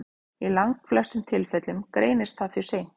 Í langflestum tilfellum greinist það því seint.